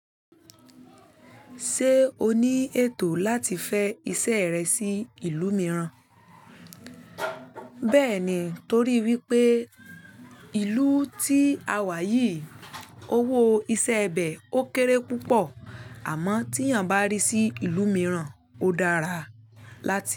Ṣé o ní ètò láti fẹ́ iṣẹ́ rẹ sí ìlú mìíràn? Bẹ́ẹ̀ni, torí wípé ìlú tí a wà yìí owó iṣẹ́ ibẹ ó kéré púpọ̀ àmọ́ tí èèyàn bá rí sí ìlú mìíràn ó dára láti.